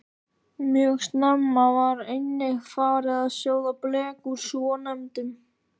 Mjög snemma var einnig farið að sjóða blek úr svonefndum